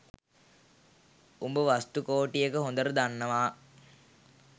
උඹ චතුස්කෝටිකය හොඳට දන්නවා